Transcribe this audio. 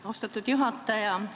Austatud juhataja!